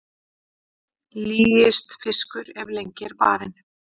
Lýist fiskur ef lengi er barinn.